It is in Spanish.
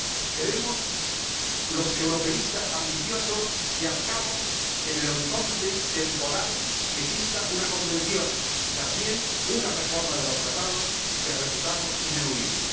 Queremos los europeístas ambiciosos que, al cabo, en el horizonte temporal, exista una convención y también una reforma de los Tratados que reputamos ineludible.